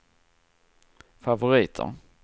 favoriter